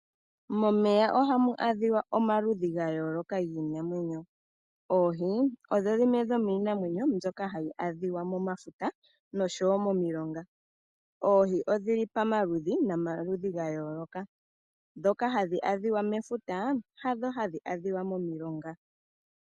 Momeya ohamu adhika omaludhi ga yooloka giinamwenyo. Oohi odho dhimwe dho miinamwenyo myoka hayi adhika momafuta nosho wo momilonga. Oohi odhili pomaludhi no maludhi ga yooloka, dhoka hadhi adhika mefuta hadho hadhi adhika momilonga.